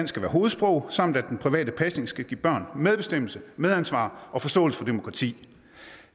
skal være hovedsprog samt at den private pasning skal give børn medbestemmelse medansvar og forståelse for demokrati